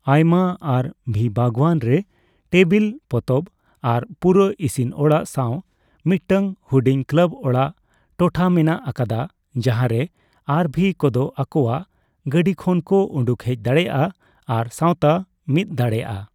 ᱟᱭᱢᱟ ᱟᱨᱹᱵᱷᱤ ᱵᱟᱜᱣᱟᱱ ᱨᱮ ᱴᱮᱵᱤᱞ, ᱯᱚᱛᱚᱵ ᱟᱨ ᱯᱩᱨᱟᱹ ᱤᱥᱤᱱ ᱚᱲᱟᱜ ᱥᱟᱣ ᱢᱤᱫᱴᱟᱝ ᱦᱩᱰᱤᱧ ᱠᱞᱟᱵ ᱚᱲᱟᱜ ᱴᱚᱴᱷᱟ ᱢᱮᱱᱟᱜ ᱟᱠᱟᱫᱟ ᱡᱟᱦᱟᱨᱮ ᱟᱨᱹᱵᱷᱤᱼᱠᱚᱫᱚ ᱟᱠᱚᱣᱟᱜ ᱜᱟᱰᱤ ᱠᱷᱚᱱ ᱠᱚ ᱩᱰᱩᱠ ᱦᱮᱡ ᱫᱟᱲᱮᱭᱟᱜᱼᱟ ᱟᱨ ᱥᱟᱣᱛᱟ ᱢᱤᱛ ᱫᱟᱲᱮᱭᱟᱜᱼᱟ ᱾